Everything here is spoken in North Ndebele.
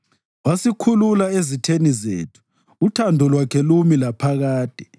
Wasikhulula ezitheni zethu, uthando lwakhe lumi laphakade.